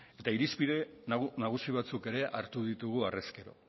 eta irizpide nagusi batzuk ere hartu ditugu harrez gero